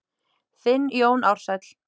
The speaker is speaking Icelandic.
Þinn Jón Ársæll.